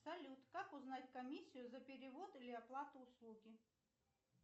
салют как узнать комиссию за перевод или оплату услуги